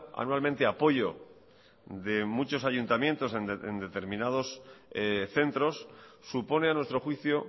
anualmente apoyo de muchos ayuntamientos en determinados centros supone a nuestro juicio